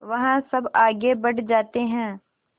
वह सब आगे बढ़ जाते हैं